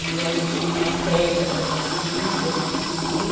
E a gente tem umas regras a ser seguida, tem que seguir.